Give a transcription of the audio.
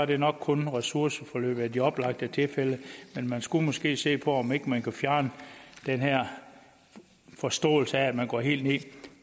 det er nok kun ressourceforløb i de oplagte tilfælde men man skulle måske se på om ikke man kunne fjerne den her forståelse af at man går helt ned